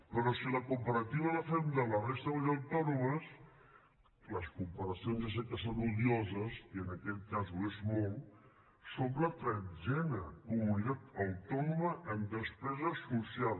però si la comparativa la fem de la resta de comunitats autònomes les compara cions ja sé que són odioses i en aquest cas ho és molt som la tretzena comunitat autònoma en despesa social